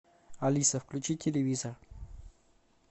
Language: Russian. алиса включи телевизор